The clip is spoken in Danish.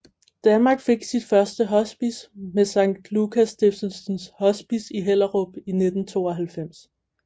Danmark fik sit første hospice med Sankt Lukas Stiftelsens Hospice i Hellerup i 1992